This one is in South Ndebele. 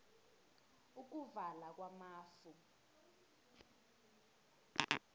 ukuvala kwamafu